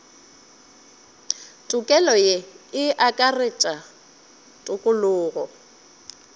tokelo ye e akaretša tokologo